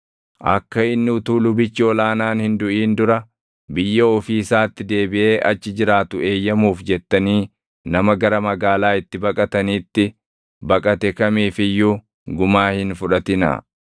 “ ‘Akka inni utuu lubichi ol aanaan hin duʼin dura biyya ofii isaatti deebiʼee achi jiraatu eeyyamuuf jettanii nama gara magaalaa itti baqataniitti baqate kamiif iyyuu gumaa hin fudhatinaa.